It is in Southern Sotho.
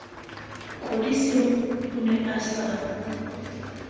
kodisang o ne a sa